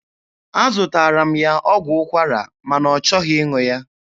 Azụtaara m ya ọgwụ ụkwara ma na ọ chọghị ịṅụ ya.